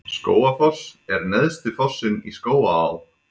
Skógafoss er neðsti fossinn í Skógaá.